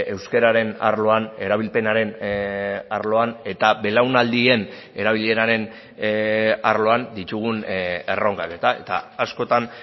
euskararen arloan erabilpenaren arloan eta belaunaldien erabileraren arloan ditugun erronkak eta eta askotan